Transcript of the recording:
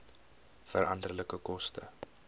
veranderlike koste